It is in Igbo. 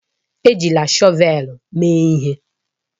Ejila shọvel mee ihe!